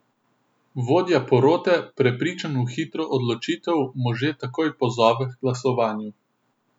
Vodja porote, prepričan v hitro odločitev, može takoj pozove h glasovanju.